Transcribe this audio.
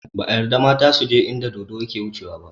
Ba a yarda mata suje inda dodo yake wucewa ba